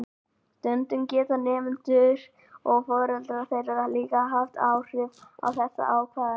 Stundum geta nemendur og foreldrar þeirra líka haft áhrif á þessar ákvarðanir.